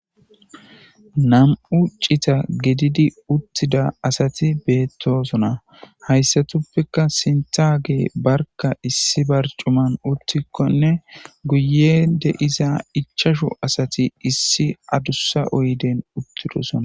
nam7u ccita gididi uttida asati beettosona hayssatuppekka sintage barka issi barcuman uttikkonne guye deiza ichashu asati issi adussa oyden uttidosona